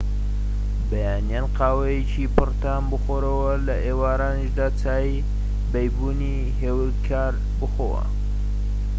بەیانیان قاوەیەکی پڕ تام بخۆوە و لە ئێوارانیشدا چای بەیبونی هێورکار بخۆوە